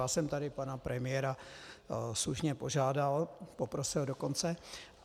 Já jsem tady pana premiéra slušně požádal, poprosil dokonce.